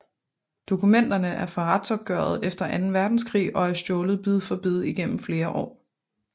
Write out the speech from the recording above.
Dokumenterne er fra retsopgøret efter Anden Verdenskrig og er stjålet bid for bid igennem flere år